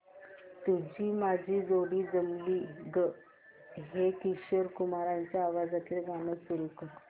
तुझी माझी जोडी जमली गं हे किशोर कुमारांच्या आवाजातील गाणं सुरू कर